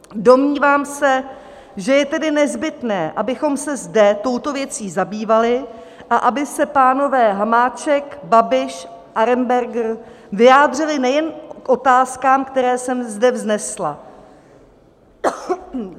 Domnívám se, že je tady nezbytné, abychom se zde touto věcí zabývali a aby se pánové Hamáček, Babiš, Arenberger vyjádřili nejen k otázkám, které jsem zde vznesla.